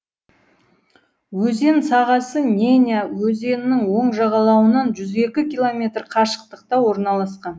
өзен сағасы неня өзенінің оң жағалауынан жүз екі километр қашықтықта орналасқан